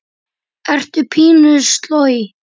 Ertu pínu sloj?